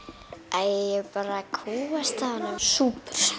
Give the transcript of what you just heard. æi ég bara kúgast af honum súpur